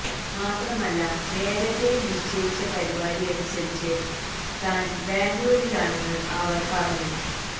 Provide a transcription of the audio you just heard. മാത്രമല്ല നേരത്തെ നിശ്ചയിച്ച പരിപാടിയനുസരിച്ച് താന് ബാംഗ്ലൂരിലാണെന്ന് അവര് പറഞ്ഞു